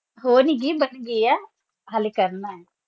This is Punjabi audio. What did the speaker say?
ਹੋ ਨੇ ਗਏ ਬਣ ਗਯਾ ਹਾਲੇ ਕਰਨਾ